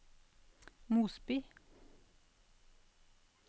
Mosby